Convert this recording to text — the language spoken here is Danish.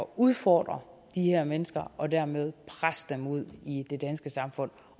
udfordre de her mennesker og dermed presse dem ud i det danske samfund